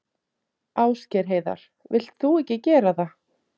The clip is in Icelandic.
Ásgeir Heiðar: Vilt þú ekki gera það?